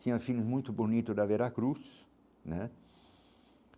Tinha filmes muito bonitos da Veracruz né.